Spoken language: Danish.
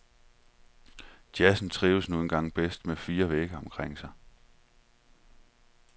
Jazzen trives nu engang bedst med fire vægge omkring sig.